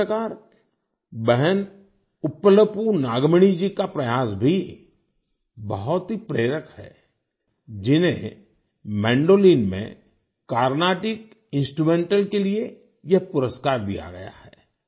उसी प्रकार बहन उप्पलपू नागमणि जी का प्रयास भी बहुत ही प्रेरक है जिन्हें मैंडोलिन में कार्नाटिक इंस्ट्रूमेंटल के लिए यह पुरस्कार दिया गया है